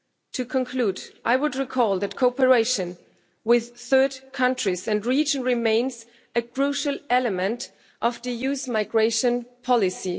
To conclude, I would recall that cooperation with third countries and regions remains a crucial element of the EU's migration policy.